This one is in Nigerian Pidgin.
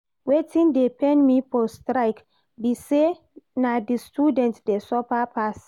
Wetin dey pain me for strike be say na the students dey suffer pass